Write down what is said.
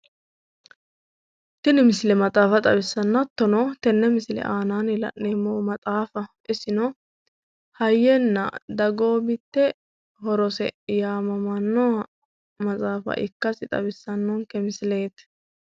tini misile maxaafa xawissanno hattono tenne misile aanaanni la'neemmohu isino hayyenna dagoomitte horose yaannoha ikkasi xawissannonke misileeti.